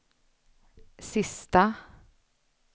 sista